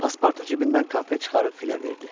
Pasportu cibindən konfet çıxarıb filə verdi.